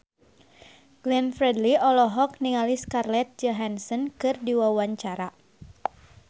Glenn Fredly olohok ningali Scarlett Johansson keur diwawancara